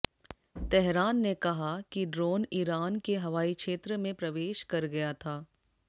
Tehran ने कहा कि ड्रोन ईरान के हवाईक्षेत्र में प्रवेश कर गया था